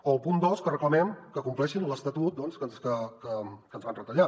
o al punt dos que reclamem que compleixin l’estatut que ens van retallar